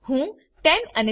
હું 10 અને 15